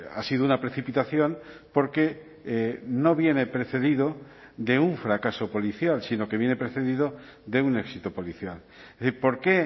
ha sido una precipitación porque no viene precedido de un fracaso policial sino que viene precedido de un éxito policial por qué